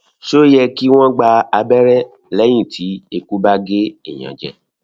ṣé ó yẹ kí wọn gba abere lẹyìn tí eku ba ge eyan jẹ